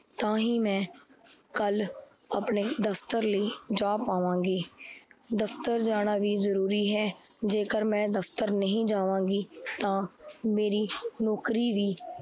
ਤਾਹੀ ਮੈ, ਕੱਲ ਆਪਣੇ ਦਫ਼ਤਰ ਲਈ ਜਾਂ ਪਵਾਂਗੀ ਦਫ਼ਤਰ ਜਾਣਾ ਵੀ ਜਰੂਰੀ ਹੈ। ਜੇਕਰ ਮੈ ਦਫ਼ਤਰ ਨਹੀਂ ਜਾਵਾਂਗੀ ਤਾਂ ਮੇਰੀ ਨੋਕਰੀ ਵੀ